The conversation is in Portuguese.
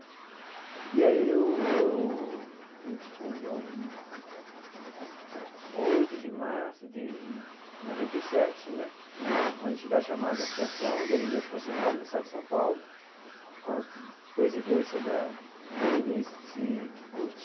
E aí eu eu a gente fundou em oito de março de noventa e sete né, com a entidade chamada Associação de Anemia Falciforme do Estado de São Paulo, com a presidência da Berenice Kikuchi.